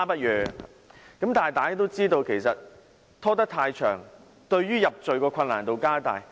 然而，大家都知道，拖延太久才舉報，入罪的難度就更高。